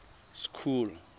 school